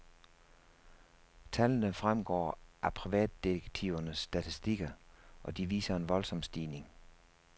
Tallene fremgår af privatdetektivernes statistikker, og de viser en voldsom stigning.